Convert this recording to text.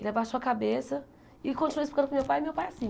Ele abaixou a cabeça e continuou explicando para o meu pai e meu pai assim.